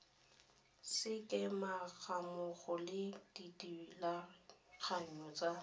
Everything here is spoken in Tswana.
sekema gammogo le dithulaganyo tsa